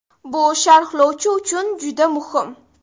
Bu sharhlovchi uchun juda muhim.